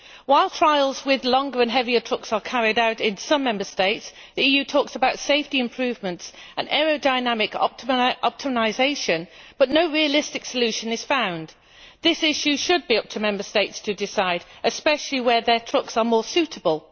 While trials with longer and heavier trucks are carried out in some Member States, the EU talks about safety improvements and aerodynamic optimisation, but no realistic solution is found. This issue should be up to Member States to decide, especially where their trucks are more suitable.